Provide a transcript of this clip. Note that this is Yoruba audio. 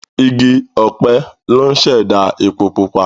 Igi ọ̀pẹ ló ń ṣẹ̀dá epo pupa.